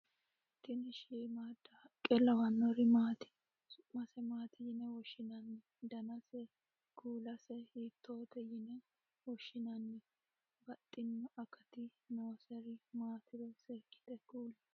tini shiimmaadda haqqe lawanori maati? su'mase maati yine woshshinanni? danasenna kuulase hiittote yine woshshinanni? baxxino akati nooseri maatiro seekkite kuli